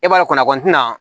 E b'a dɔn kɔni kɔnɔ kɔni ti na